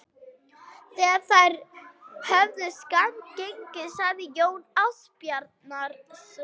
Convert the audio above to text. Þegar þeir höfðu skammt gengið sagði Jón Ásbjarnarson